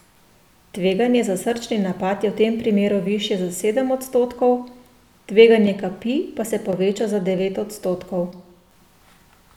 Tveganje za srčni napad je v tem primeru višje za sedem odstotkov, tveganje kapi pa se poveča za devet odstotkov.